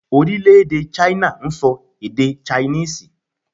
Orílèdè 'China' n so èdè 'Chinese'